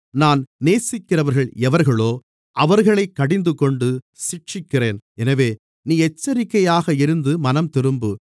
நான் நேசிக்கிறவர்கள் எவர்களோ அவர்களைக் கடிந்துகொண்டு சிட்சிக்கிறேன் எனவே நீ எச்சரிக்கையாக இருந்து மனம்திரும்பு